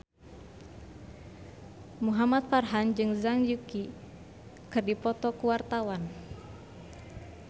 Muhamad Farhan jeung Zhang Yuqi keur dipoto ku wartawan